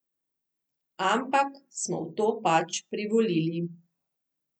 Ampak smo v to pač privolili.